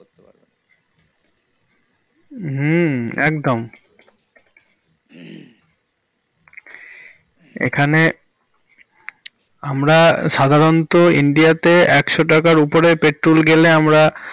হুম। একদম। এখানে আমরা সাধারণত ইন্ডিয়া তে একশো টাকার উপরে petrol গেলে আমরা।